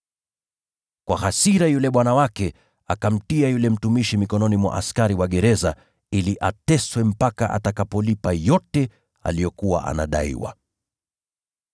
Kwa hasira, yule bwana wake akamtia yule mtumishi mikononi mwa askari wa gereza ili ateswe mpaka atakapolipa yote aliyokuwa anadaiwa.